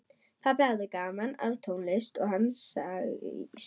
Pabbi hafði gaman af tónlist og hann segir